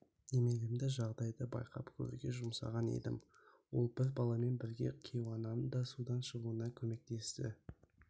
немеремді жағдайды байқап көруге жұмсаған едім ол бір баламен бірге кейуананы да судан шығуына көмектесті